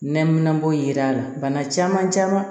Nɛminanpo yira la bana caman caman